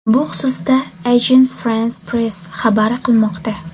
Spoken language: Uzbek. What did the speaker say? Bu xususda Agence France-Presse xabar qilmoqda .